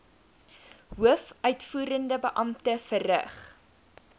hoofuitvoerende beampte verrig